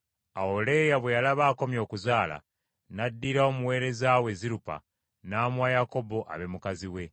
Awo Leeya bwe yalaba akomye okuzaala, n’addira omuweereza we Zirupa n’amuwa Yakobo abe mukazi we.